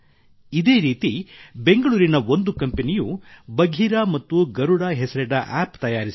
ಇದೇ ರೀತಿ ಬೆಂಗಳೂರಿನ ಒಂದು ಕಂಪೆನಿಯು ಬಘೀರಾ ಮತ್ತು ಗರುಡ ಹೆಸರಿನ ಆಪ್ App ತಯಾರಿಸಿದೆ